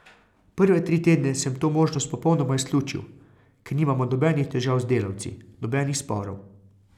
Prve tri tedne sem to možnost popolnoma izključil, ker nimamo nobenih težav z delavci, nobenih sporov.